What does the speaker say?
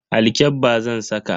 Alkyabba zan saka.